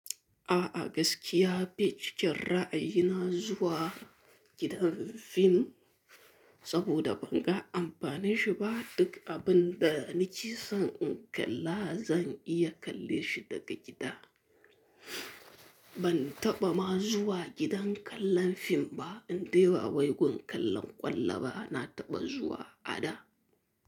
A'a gaskiya bai cikin ra'ayina zuwa gidan fim saboda ban ga amfanin shi ba. Duk abin da ni ke son in kalla zan iya kalle shi daga gida. Bantaɓa ma zuwa gidan kallon fim ba indai bawai gun kallon ƙwallo ba nataɓa zuwa a da.